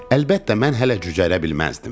Əlbəttə, mən hələ cücərə bilməzdim.